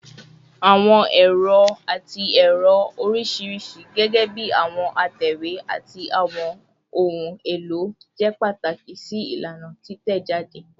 Awọn ero ati ẹrọ oriṣiriṣi, gẹgẹbi awọn atẹwe ati awọn ohun elo, jẹ pataki si ilana titẹjade